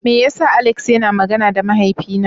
Meya sa Alex yana magana da mahaifi na?